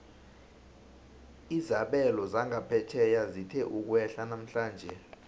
izabelo zangaphetjheya zithe ukwehla namhlanje